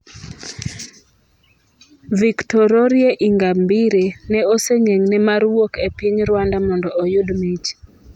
Victoroire Ingabire ne osegeng'ne mar wuok e piny Rwanda mondo oyud mich